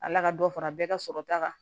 Ala ka dɔ fara bɛɛ ka sɔrɔ ta kan